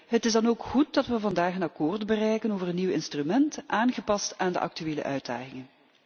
Het is dan ook goed dat we vandaag een akkoord bereiken over een nieuw instrument, aangepast aan de actuele uitdagingen.